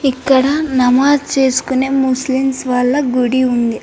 ఇక్కడ నమాజ్ చేసుకునే ముస్లిమ్స్ వాళ్ళ గుడి ఉంది.